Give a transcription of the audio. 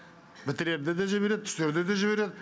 бітірерде де жібереді түсерде де жібереді